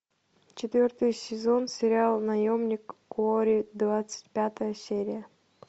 четвертый сезон сериал наемник куорри двадцать пятая серия